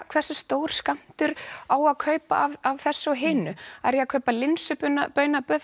hversu stór skammtur á að kaupa af þessu eða hinu er ég að kaupa